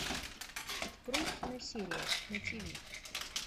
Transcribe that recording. открой киносерия на тв